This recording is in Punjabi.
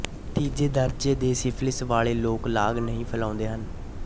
ਤੀਜੇ ਦਰਜੇ ਦੇ ਸਿਫਿਲਿਸ ਵਾਲੇ ਲੋਕ ਲਾਗ ਨਹੀਂ ਫੈਲਾਉਂਦੇ ਹਨ